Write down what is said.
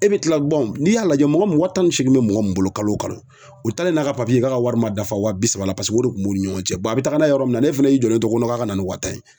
E bi tila n'i y'a lajɛ mɔgɔ mun wa tan ni seegin bɛ mɔgɔ min bolo kalo o kalo o taalen n'a ka k'a ka wari ma dafa wa bi saba la paseke o de kun b'u ni ɲɔgɔn cɛ a bɛ taga n'a ye yɔrɔ min na n'e fɛnɛ y'i jɔlen to ko k'a ka na ni wa tan ye